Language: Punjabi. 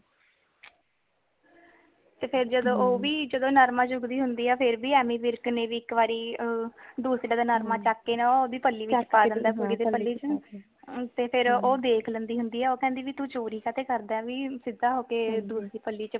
ਤੇ ਫਿਰ ਓ ਵੀ ਜਦੋ ਨਰਮਾ ਚੁਕਦੀ ਹੁੰਦੀ ਹੈ ਫਿਰ ਭੀ ਐਮੀ ਵਿਰਕ ਨੇ ਵੀ ਇੱਕ ਵਾਰੀ ਦੂਸਰਿਆਂ ਦਾ ਨਰਮਾ ਚੱਕ ਨੇ ਨਾ ਓਦੀ ਪਲੀ ਵਿਚ ਪਾ ਦੇਂਦਾ ਹੈ ਤੇ ਫੇਰ ਓ ਦੇਖ ਲੈਂਦੀ ਹੁੰਦੀ ਹੈ ਓ ਕਹਿੰਦੀ ਭੀ ਤੂੰ ਚੋਰੀ ਕਾਦੇ ਕਰਦਾ ਭੀ ਸਿਧਾ ਹੋਕੇ ਦੂਸਰੀ ਪਲੀ ਵਿਚ ਪਾ ਦੇ